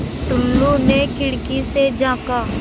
टुल्लु ने खिड़की से झाँका